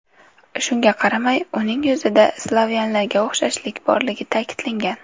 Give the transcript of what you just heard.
Shunga qaramay, uning yuzida slavyanlarga o‘xshashlik borligi ta’kidlangan.